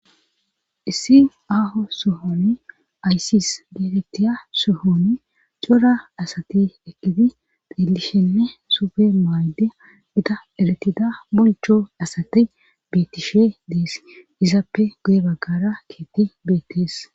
Issi aaho sohon aysis geetettiya sohon cora asati ekidi xeellishenne suppe maayide gita erettida bonicho asati beettishe dees. Izappe guye baggara keeththi beettees.